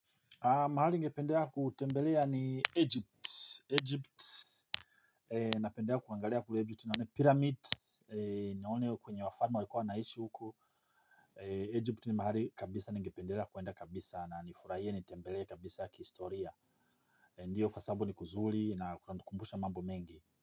Mahali ningependea kutembelea ni egypt egypt. Napendelea kuangalia kule egypt nione pyramid nione kwenye wafalme walikuwa wanaishi huku egypt ni mahali kabisa ningependelea kuenda kabisa na nifurahie nitembelee kabisa kihistoria ndiyo kwa sababu ni kuzuri na kunanikumbusha mambo mengi.